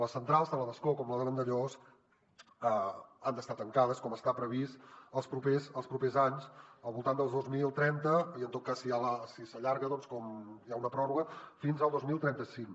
les centrals tant la d’ascó com la de vandellòs han d’estar tancades com està previst els propers anys al voltant del dos mil trenta i en tot cas si s’allarga com que hi ha una pròrroga fins al dos mil trenta cinc